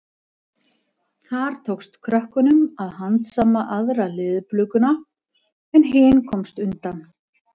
Þar tókst krökkum að handsama aðra leðurblökuna en hin komst undan.